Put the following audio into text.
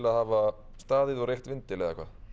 að hafa staðið og reykt vindil eða hvað